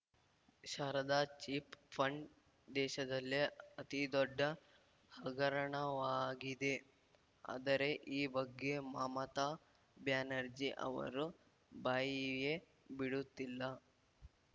Sharada chit fund ದೇಶದಲ್ಲೇ ಅತಿದೊಡ್ಡ ಹಗರಣವಾಗಿದೆ ಆದರೆ ಈ ಬಗ್ಗೆ ಮಮತಾ ಬ್ಯಾನರ್ಜಿ ಅವರು ಬಾಯಿಯೇ ಬಿಡುತ್ತಿಲ್ಲ